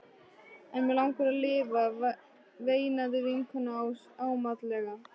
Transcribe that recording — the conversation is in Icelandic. En mig langar að lifa, veinaði vinkonan ámátlega.